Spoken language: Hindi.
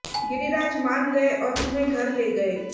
गिरिराज मान गए और तुम्हें घर ले गए